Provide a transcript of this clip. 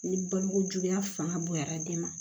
Ni balokojuguya fanga bonyara den ma